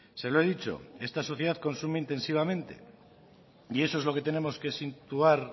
se lo he dicho esta sociedad consume intensivamente y eso es lo que tenemos que situar